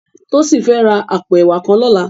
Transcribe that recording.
Tosin fè rá àpó èwá kàn lòlá